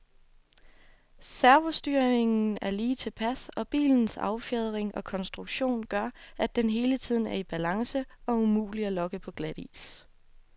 Servostyringen er lige tilpas, og bilens affjedring og konstruktion gør, at den hele tiden er i balance og umulig at lokke på glatis.